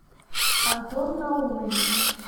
антон наумович